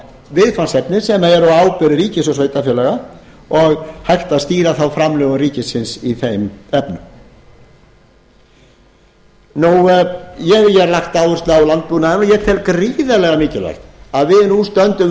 viðfangsefni sem væri á ábyrgð ríkis og sveitarfélaga og hægt að stýra þá framlögum ríkisins í þeim efnum ég hef hér lagt áherslu á landbúnaðinn og ég tel gríðarlega mikilvægt að við nú stöndum vörð